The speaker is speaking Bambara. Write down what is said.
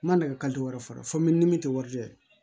N ma nɛgɛ wɛrɛ sɔrɔ fo mi ni min tɛ warijɛ ye